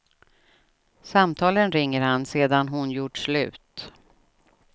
Samtalen ringer han sedan hon gjort slut.